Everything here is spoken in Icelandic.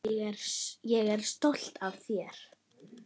Ég er stolt af þér.